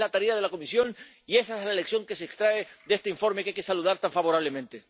Esa es la tarea de la Comisión y esa es la lección que se extrae de este informe, que hay que saludar tan favorablemente.